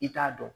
I t'a dɔn